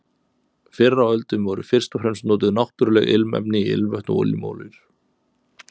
Fyrr á öldum voru fyrst og fremst notuð náttúruleg ilmefni í ilmvötn og ilmolíur.